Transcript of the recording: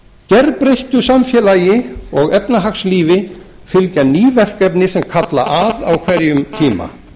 gerbreyttu samfélagi og efnahagslífi fylgja ný verkefni sem kalla að á hverjum tíma